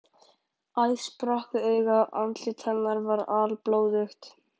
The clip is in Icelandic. Æð sprakk við augað og andlit hennar var alblóðugt.